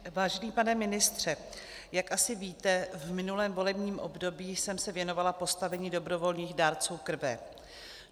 Vážený pane ministře, jak asi víte, v minulém volebním období jsem se věnovala postavení dobrovolných dárců krve.